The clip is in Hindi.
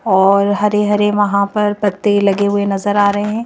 और हरे-हरे वहाँ पर पत्ते लगे हुए नजर आ रहे हैं।